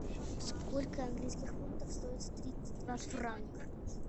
сколько английских фунтов стоит тридцать два франка